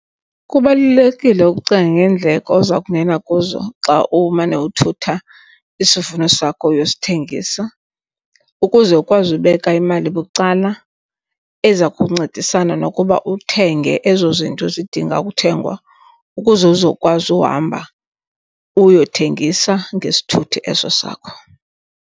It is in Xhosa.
Kubalulekile ukucinga ngeendleko oza kungena kuzo xa umane uthutha isivuno sakho uyosithengisa ukuze ukwazi ubeka imali bucala eza kuncedisana nokuba uthenge ezo zinto zidinga ukuthengwa, ukuze uzokwazi uhamba uyothengisa ngesithuthi eso sakho.